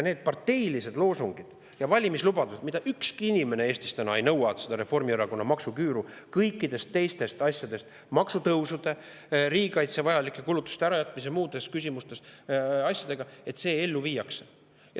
Nende parteiliste loosungite ja valimislubaduste ükski inimene Eestis täna ei nõua, see Reformierakonna maksuküür kõikide teiste asjade abil, maksutõusude, riigikaitseks vajalike kulutuste ärajätmise ja muude asjade abil ellu viidaks.